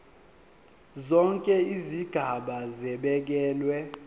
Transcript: zonke izigaba zibekelwe